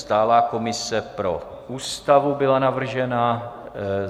Stálá komise pro Ústavu byla navržena.